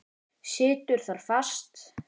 Situr þar fast.